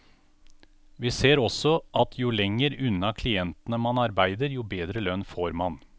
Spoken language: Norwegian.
Vi ser også at jo lenger unna klientene man arbeider jo bedre lønn får man.